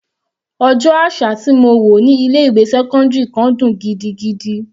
Ọjọ́ àṣà tí mo wò ní ilé ìwé sẹ́cọ́ndírì kan dùn gidigidi.